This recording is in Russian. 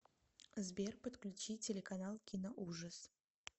сбер подключи телеканал киноужас